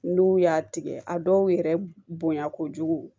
N'u y'a tigɛ a dɔw yɛrɛ bonya kojugu